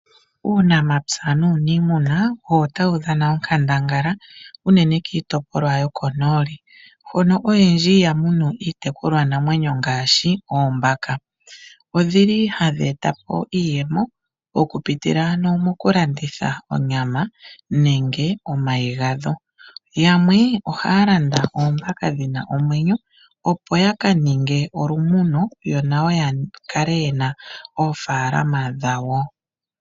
Uunamapya nuuniimuna owo tawu dhana onkandangala unene kiitopolwa yokonooli hono oyendji yamunu iitekulwa namwenyo ngaashi oombaka. Odhili hadhi eta po iiyemo mokupitila ano mokulanditha onyama nenge omay gadho. Yamwe ohaya landa oombaka dhina omwenyo opo yaka ninge olumuno nayo yakale yena oofaalama dhawo.